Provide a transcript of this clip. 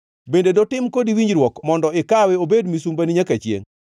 Bende dotim kodi winjruok mondo ikawe obed misumbani nyaka chiengʼ?